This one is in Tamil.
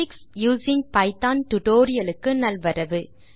ஸ்டாட்டிஸ்டிக்ஸ் யூசிங் பைத்தோன் டியூட்டோரியல் க்கு நல்வரவு